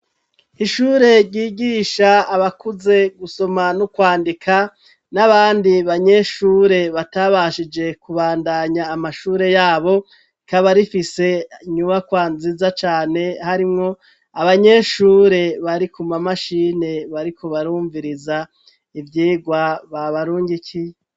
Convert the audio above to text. Ishure ryigisha abakuze gusoma no kwandika, n'abandi banyeshure batabashije kubandanya amashure yabo, rikaba rifise inyubakwa nziza cane, harimwo abanyeshure bari kuma mashini bariko barumviriza ivyigwa babarungikiye.